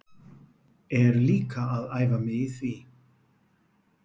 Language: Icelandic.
Er líka að æfa mig í því.